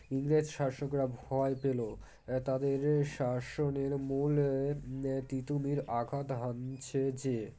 ইংরেজ শাসকরা ভয় পেলো তাদের শাসনের মূল এএএ তীতুমীর আঘাত হানছে যে